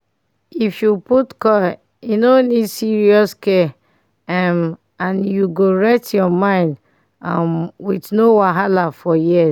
if u put coil e no need serious care um and you go rest ur mind um with no wahala for years